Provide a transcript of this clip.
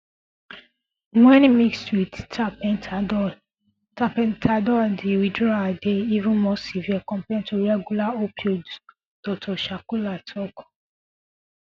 wen mixed with tapentadol tapentadol d withdrawal dey even more severe compared to regular opioids dr shukla tok